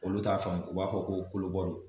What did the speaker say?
Olu t'a faamu u b'a fɔ ko kolobɔ don